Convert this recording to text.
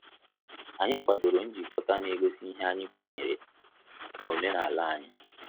Anyị kwadoro njikota na egosi ihe anyị kwenyere na omenala anyi